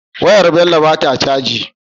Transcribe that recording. Wayar Bello bata caji